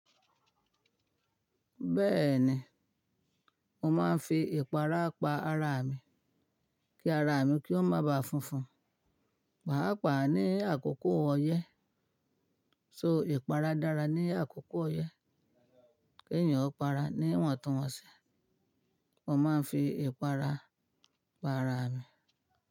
Bẹ́ẹ̀ni, mo máa ń fi ìpara pa ara mi, kí ara mi kí ó má ba funfun. Pàápàá ní àkókò ọyẹ́, so ìpara dára ní àkókò ọyẹ́, kí ènìyàn ó para ní iwọ̀ntun wọ̀ńṣi, mo máa ń fi ìpara pa ara mi.